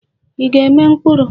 Ị ga-eme mkpuru?